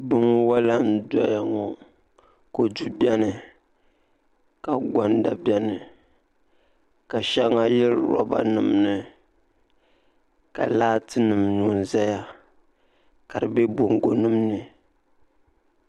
binwala n-doya ŋɔ kɔdu beni ka gɔnda beni ka shɛŋa yili lɔbanima ni ka laatinima nyo n-zaya ka di be bɔŋgonima ni